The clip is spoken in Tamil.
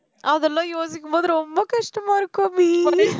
அதெல்லாம் யோசிக்கும் போது ரொம்ப கஷ்டமா இருக்கும் அபி